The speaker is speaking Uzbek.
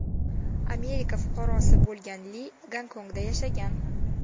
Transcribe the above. Amerika fuqarosi bo‘lgan Li Gonkongda yashagan.